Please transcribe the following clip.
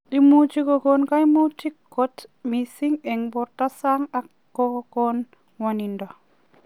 Imuchii kokokon kaimutik koot mising eng portoo saang ak ko kon ngwanindo.